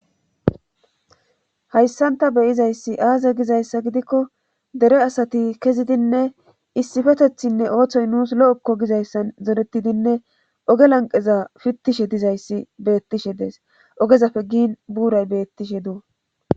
hayssanta beyizayssi aaze gizayssa gidikko dere asati kezidinne issifetethinne ooththoy nuus lo7ekko gizayssan zoretidinne oge lanqeza fittishe dizayssi beettishe dees ogezapfe giin buuray bettishe duu